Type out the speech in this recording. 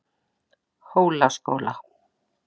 Hólaskóla